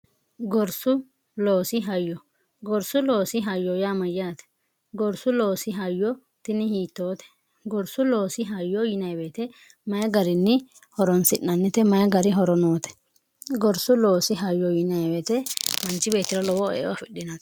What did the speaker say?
gorsu loosi hayyo gorsu loosi hayyo yaamayyaate gorsu loosi hayyo tini hiittoote gorsu loosi hayyo yinaiweete mayi gariinni horonsi'nannite mayi gari horonoote gorsu loosi hayyo yiniweete manchi beetira lowoo eo afidhinae